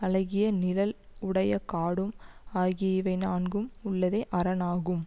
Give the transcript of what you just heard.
அழகிய நிழல் உடைய காடும் ஆகிய இவை நான்கும் உள்ளதே அரண் ஆகும்